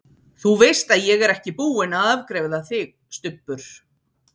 ÞÚ VEIST AÐ ÉG ER EKKI BÚINN AÐ AFGREIÐA ÞIG, STUBBUR!